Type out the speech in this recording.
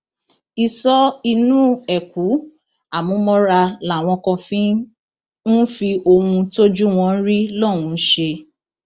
isọ inú eku àmúmọra làwọn kan ń fi ohun tójú wọn ń rí lọhùnún ṣe